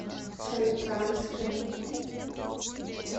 соликамске